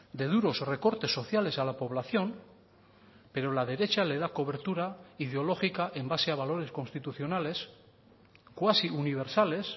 de duros recortes sociales a la población pero la derecha le da cobertura ideológica en base a valores constitucionales cuasiuniversales